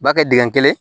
U b'a kɛ dingɛ kelen